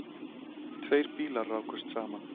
Tveir bílar rákust saman.